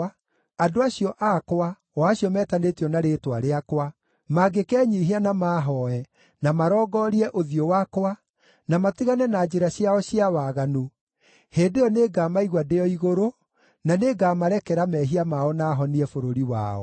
andũ acio akwa, o acio metanĩtio na rĩĩtwa rĩakwa, mangĩkenyiihia na maahooe, na marongorie ũthiũ wakwa, na matigane na njĩra ciao cia waganu, hĩndĩ ĩyo nĩngamaigua ndĩ o igũrũ, na nĩngamarekera mehia mao na honie bũrũri wao.